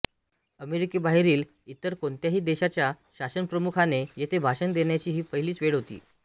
अमेरिकेबाहेरील इतर कोणत्याही देशाच्या शासनप्रमुखाने येथे भाषण देण्याची ही पहिलीच वेळ होती